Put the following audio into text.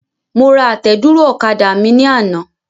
Mo ra àtẹ̀dúró ọ̀kadà mi ní àná.